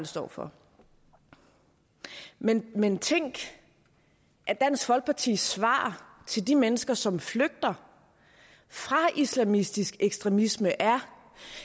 står for men men tænk at dansk folkepartis svar til de mennesker som flygter fra islamistisk ekstremisme er